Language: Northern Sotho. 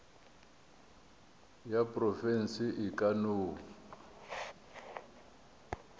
ya profense e ka no